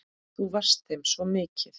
Þú varst þeim svo mikið.